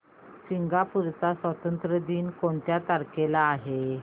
Singapore चा स्वातंत्र्य दिन कोणत्या तारखेला आहे